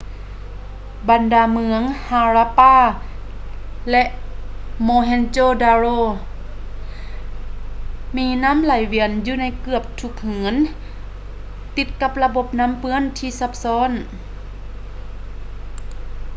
ບັນດາເມືອງ harappa ແລະ mohenjo-daro ມີນໍ້າໄຫລວຽນຢູ່ໃນເກືອບທຸກເຮືອນ ຕິດກັບລະບົບນໍ້າເປື້ອນທີ່ຊັບຊ້ອນ